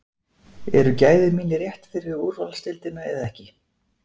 Eru gæði mín rétt fyrir úrvalsdeildina eða ekki?